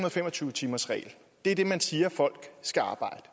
og fem og tyve timersregel er det man siger folk skal arbejde